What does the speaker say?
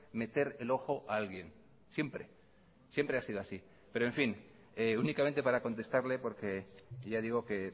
meter el ojo a alguien siempre siempre ha sido así pero en fin únicamente para contestarle porque ya digo que